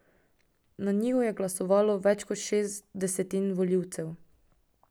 Na njiju je glasovalo več kot šest desetin volivcev.